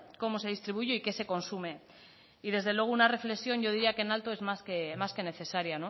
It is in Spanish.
cómo se distribuyen y qué se consume y desde luego una reflexión yo diría que en alto es más que necesaria